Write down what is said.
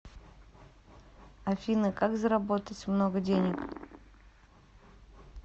афина как заработать много денег